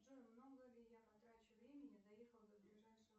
джой много ли я потрачу времени доехав до ближайшего